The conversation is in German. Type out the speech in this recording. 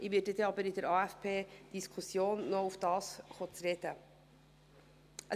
Ich werde bei der AFP-Diskussion noch darauf zu sprechen kommen.